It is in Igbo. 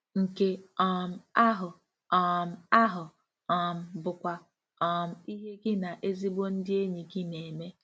Nke um ahụ um ahụ um bụkwa um ihe gị na ezigbo ndị enyi gị na-eme. ”